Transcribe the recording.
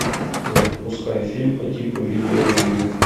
запускай фильм по типу видео ревью